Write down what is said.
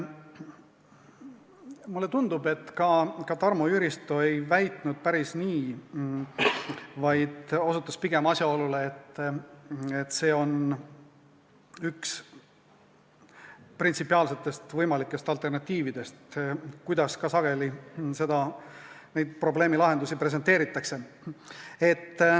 Mulle tundub, et ka Tarmo Jüristo ei väitnud päris nii, vaid osutas pigem asjaolule, et see on üks printsipiaalsetest võimalikest alternatiividest, kuidas sageli neid probleemi lahendusi presenteeritakse.